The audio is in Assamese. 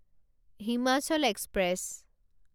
হিমাচল এক্সপ্ৰেছ